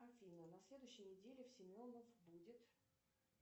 афина на следующей неделе в семенов будет